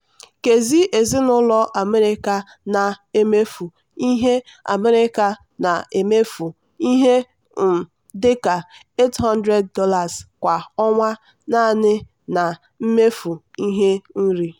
nkezi ezinụlọ america na-emefu ihe america na-emefu ihe um dị ka $800 kwa ọnwa naanị na mmefu ihe nri.